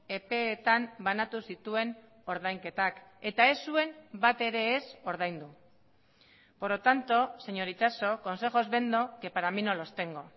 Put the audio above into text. epeetan banatu zituen ordainketak eta ez zuen bat ere ez ordaindu por lo tanto señor itxaso consejos vendo que para mí no los tengo